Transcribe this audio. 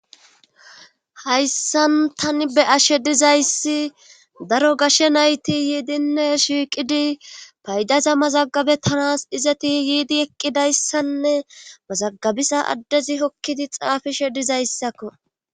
Hayssan tani be ashe dizayssi daro gashshe nayti yiidinne shiiqidi paydaza mazagabe tanas dizeti yiidi eqqidayssanne mazagabisa addezi hokkidi xaafishe dizayssakko.